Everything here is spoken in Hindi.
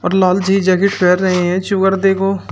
और लाल सी जैकेट पेहर रहे हैं देखो।